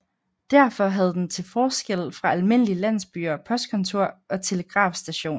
Derfor havde den til forskel fra almindelige landsbyer postkontor og telegrafstation